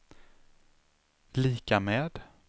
lika med